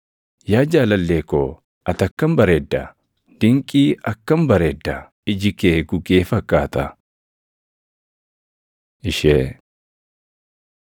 Yaa jaalallee ko, ati akkam bareedda! Dinqii akkam bareedda! Iji kee gugee fakkaata. Ishee